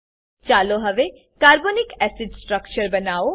ચાલો હવે carbonic acid carbonic acid structure બનાવો